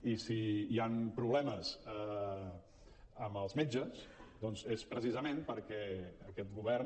i si hi han problemes amb els metges doncs és precisament perquè aquest govern